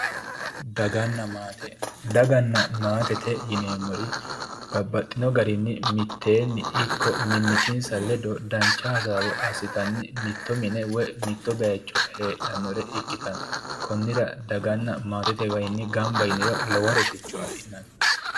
Daganna maate, daganna maatete yineemmori babbaxino garinni mitteenni ikko mimmitinsa ledo dancha hasaawa assittanni mitto mine woyi mitto bayicho heedhanore ikkittanna konnira daganna maatete waayinni gamba yinniro lowo rosicho affi'nanni.